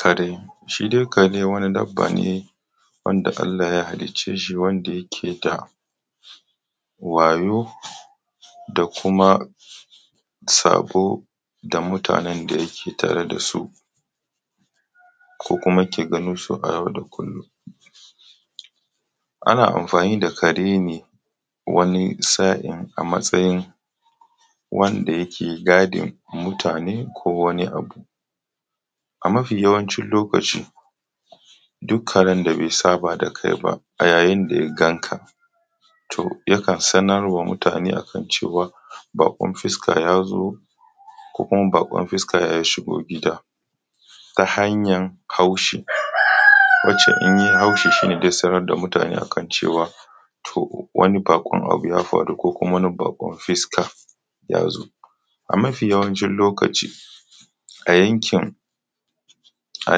Kare, shi dai kare wani dabba ne wanda Allah ya halicce shi wanda yake da wayau da kuma sabo da mutanen da yake tare dasu ko kuma ke ganinsu a yau da kullum. Anna amafani da kare ne wani sa’in a matsayin wanda yake gadin mutane ko wani abu. A mafi yawancin lokaci duk karen da bai saba da kai ba a yayin da ya gan ka to yakan sanar wa mutane a kan cewa baƙon fuska ya zo, ko kuma baƙon fuska ya shigo gida ta hanyan haushi wacce in ya yi haushi shine zai sanar da mutane a kan cewa to wani baƙon abu ya faru ko kuma wani baƙon fuska ya zo. A mafi yawancin lokaci a yankin a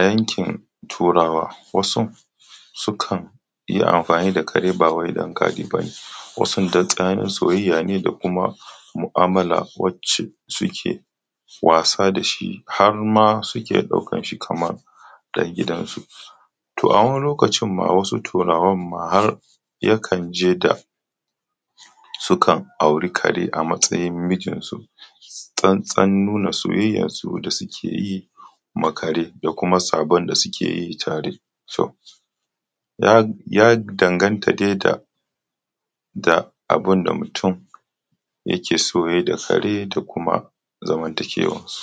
yankin turawa wasu su kan yi amfani da kare ba wai da gadi ba ne, wasu da tsananin soyayya ne da kuma mu’amala wacce suke wasa da shi har ma suke ɗaukan shi kamar ɗan gidansu. To a wani lokacin ma wasu turawan ma har yakan je da su kan auri kare a matsayin mijin su tsantsan nuna soyayyasu da suke yi ma kare da kuma sabon da suke yi tare, ya danganta dai da da abunda mutum yake so ya yi da kare da kuma zamantakewansu.